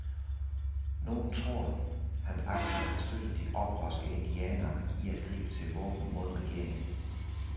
Nogen tror, han aktivt har støttet de oprørske indianere i at gribe til våben mod regeringen.